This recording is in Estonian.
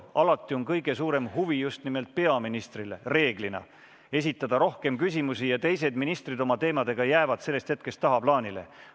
Alati on kõige suurem huvi esitada küsimusi just nimelt peaministrile ja teised ministrid oma teemadega jäävad tagaplaanile.